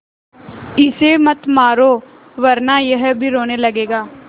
इसे मत मारो वरना यह भी रोने लगेगा